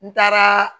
N taaraa